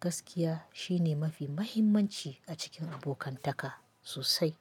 Gaskiya shine mafi mahimmanci a cikin abokantaka sosai.